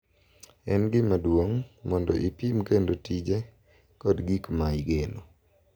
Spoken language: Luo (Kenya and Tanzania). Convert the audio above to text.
En gima duong’ mondo ipim kendo tije kod gik ma igeno.